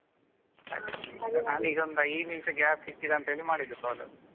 ಹಾ ನಾನು ಈಗ ಒಂದು ಐದು ನಿಮಿಷ gap ಸಿಕ್ಕಿದೆ ಅಂತ ಹೇಳಿ ಮಾಡಿದ್ದು call.